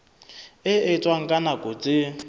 e etswang ka nako tse